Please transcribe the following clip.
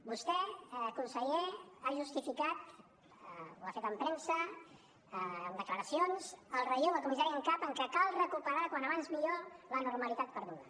vostè conseller ha justificat ho ha fet en premsa en declaracions el relleu del comissari en cap en que cal recuperar quan abans millor la normalitat perduda